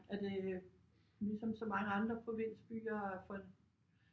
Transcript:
Er det øh ligesom så mange andre provinsbyer for